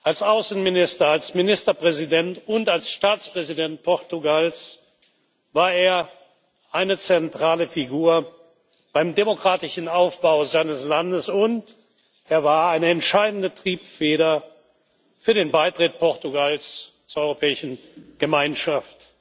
Als Außenminister, als Ministerpräsident und als Staatspräsident Portugals war er eine zentrale Figur beim demokratischen Aufbau seines Landes, und er war eine entscheidende Triebfeder für den Beitritt Portugals zur Europäischen Gemeinschaft.